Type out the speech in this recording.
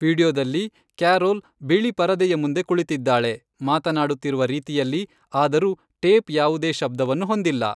ವೀಡಿಯೊದಲ್ಲಿ, ಕ್ಯಾರೊಲ್ ಬಿಳಿ ಪರದೆಯ ಮುಂದೆ ಕುಳಿತಿದ್ದಾಳೆ, ಮಾತನಾಡುತ್ತಿರುವ ರೀತಿಯಲ್ಲಿ, ಆದರೂ ಟೇಪ್ ಯಾವುದೇ ಶಬ್ದವನ್ನು ಹೊಂದಿಲ್ಲ.